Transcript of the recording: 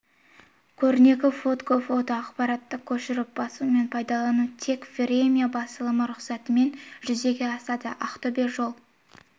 көрнекі фотго фото ақпаратты көшіріп басу мен пайдалану тек время басылымы рұқсатымен жүзеге асады ақтөбеде жол